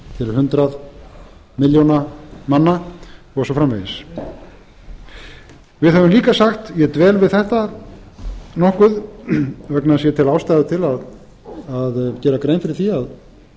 hundrað milljóna manna og svo framvegis við höfum líka sagt ég dvel við þetta nokkuð vegna þess að ég tel ástæðu til að gera grein fyrir því